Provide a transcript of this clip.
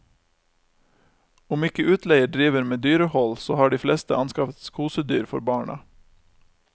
Om ikke utleier driver med dyrehold, så har de fleste anskaffet kosedyr for barna.